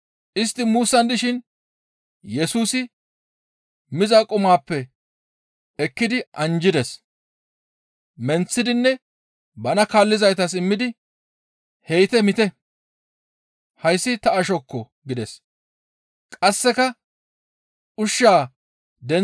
Istti muussan dishin Yesusi miza qumaappe ekkidi anjjides. Menththidinne bana kaallizaytas immidi, «He7ite miite; hayssi ta ashokko» gides. Yesusi bana kaallizaytara wurseththa kawo mishin